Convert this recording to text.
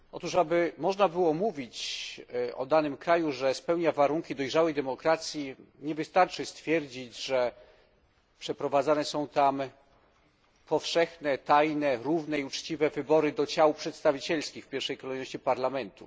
Żeby można było mówić o danym kraju, że spełnia warunki dojrzałej demokracji nie wystarczy stwierdzić, że przeprowadzane są tam powszechne, tajne, równe i uczciwe wybory do ciał przedstawicielskich, w pierwszej kolejności do parlamentu.